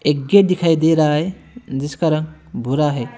एक गेट दिखाई दे रहा है जिसका रंग भूरा है।